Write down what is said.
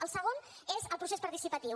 el segon és el procés participatiu